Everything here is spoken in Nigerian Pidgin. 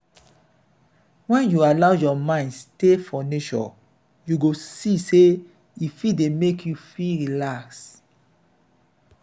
wen you allow your mind stay for nature you go see sey e fit dey make you feel relax.